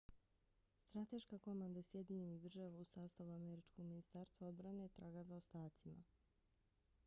strateška komanda sjedinjenih država u sastavu američkog ministarstva odbrane traga za ostacima